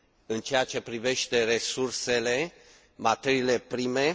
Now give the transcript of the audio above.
în ceea ce privește resursele, materiile prime.